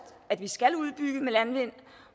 at vi skal udbygge med landvind